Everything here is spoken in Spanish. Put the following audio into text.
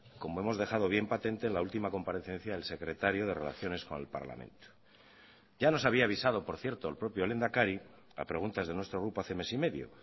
como hemos dejado bien patente en la última comparecencia del secretario de relaciones con el parlamento ya nos había avisado por cierto el propio lehendakari a preguntas de nuestro grupo hace mes y medio